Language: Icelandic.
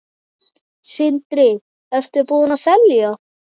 Sindri: Ertu búinn að selja?